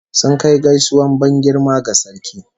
Sun kai gaisuwar ban girma ga sarki